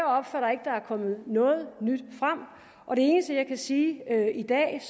opfatter at der er kommet noget nyt frem og det eneste jeg kan sige i dag